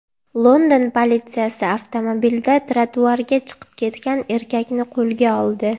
London politsiyasi avtomobilda trotuarga chiqib ketgan erkakni qo‘lga oldi.